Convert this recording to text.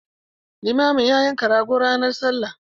Limamin ya yanka rago ranar Sallah.